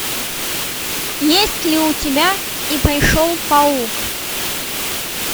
есть ли у тебя и пришел паук